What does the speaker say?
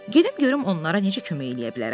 Gedim görüm onlara necə kömək eləyə bilərəm.